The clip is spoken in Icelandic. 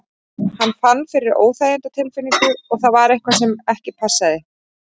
Hann fann fyrir óþægindatilfinningu og það var eitthvað sem ekki passaði.